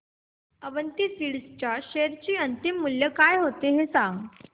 Avanti Feeds च्या share चे अंतिम मूल्य काय होते ते सांगा